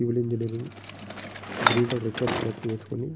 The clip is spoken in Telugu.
సివిల్ ఇంజనీరు గ్రీన్ కలర్ రిఫర్ జాకెట్ వేసుకొని.